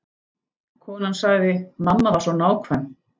Konan sagði: Mamma var svo nákvæm.